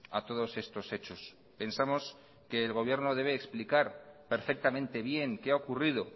a todos estos hechos pensamos que el gobierno debe explicar perfectamente bien qué ha ocurrido